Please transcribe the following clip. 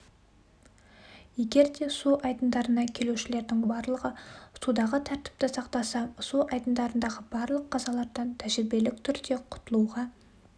егер де су айдындарына келушілердің барлығы судағы тәртіпті сақтаса су айдындарындағы барлық қазалардан тәжірибелік түрде құтылуға